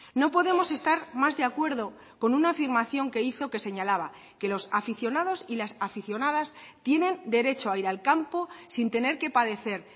no podemos estar más de acuerdo con una afirmación que hizo que señalaba que los aficionados y las aficionadas tienen derecho a ir al campo sin tener que padecer